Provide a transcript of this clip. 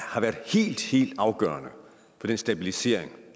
har været helt afgørende for den stabilisering